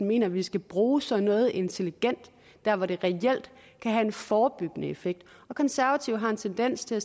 mener at vi skal bruge sådan noget intelligent der hvor det reelt kan have en forebyggende effekt de konservative har en tendens til at